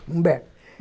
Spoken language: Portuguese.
Humberto.